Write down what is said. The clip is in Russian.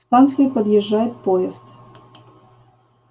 к станции подъезжает поезд